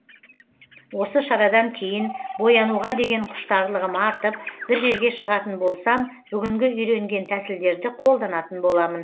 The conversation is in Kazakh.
осы шарадан кейін боянуға деген құштарлығым артып бір жерге шығатын болсам бүгінгі үйренген тәсілдерді қолданатын боламын